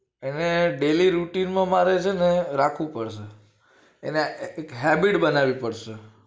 એને daily routine માં મારે છે ને રાખવું પડશે એને એક habit બનાવી પડશે